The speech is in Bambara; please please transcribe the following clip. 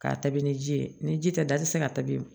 K'a tabi ni ji ye ni ji tɛ da i tɛ se ka ta bi